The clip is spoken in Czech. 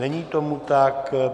Není tomu tak.